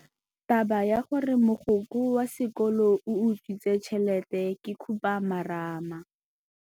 Taba ya gore mogokgo wa sekolo o utswitse tšhelete ke khupamarama.